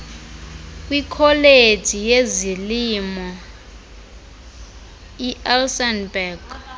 kwikholeji yezolimo ielsenburg